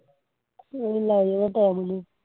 ਉਹਨੂੰ ਲੱਗ ਜਾਣਾ ਟੈਮ ਉਹਨੂੰ